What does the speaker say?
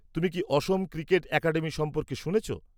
তুমি কি Assam cricket academy সম্পর্কে শুনেছ?